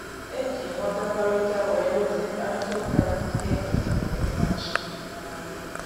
E ji nghọtakọrịta wee dozie mkparịta ụka dị ike e nwere maka ịmachi ngagharị